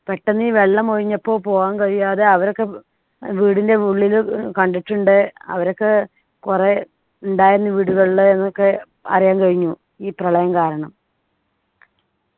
പെട്ടന്ന് ഈ വെള്ളമൊഴിഞ്ഞപ്പോൾ പോകാൻ കഴിയാതെ അവരൊക്കെ വീടിൻ്റെ ഉള്ളിലു കണ്ടിട്ടുണ്ട് അവരൊക്കെ കുറേ ഉണ്ടായിരുന്നു വീടുകളില് ന്നൊക്കെ അറിയാൻ കഴിഞ്ഞു ഈ പ്രളയം കാരണം